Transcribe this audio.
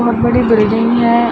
बहुत बड़ी बिल्डिंग है।